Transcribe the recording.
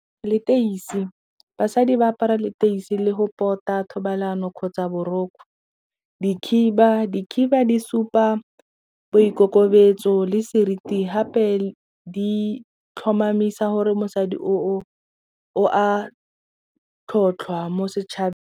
Leteisi basadi ba apara leteisi le go tota thobalano kgotsa dikhiba. Dikhiba di supa boikokobetso le seriti hape di tlhomamisa gore mosadi o a tlhotlhwa mo setšhabeng.